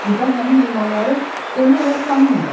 Burda həmin heyvanları demək olar tanımırlar.